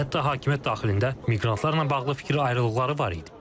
Hətta hakimiyyət daxilində miqrantlarla bağlı fikir ayrılıqları var idi.